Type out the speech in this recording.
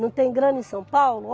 Não tem grana em São Paulo?